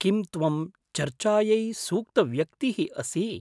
किं त्वं चर्चायै सूक्तव्यक्तिः असि?